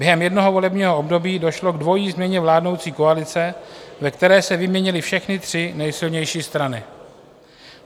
Během jednoho volebního období došlo k dvojí změně vládnoucí koalice, ve které se vyměnily všechny tři nejsilnější strany.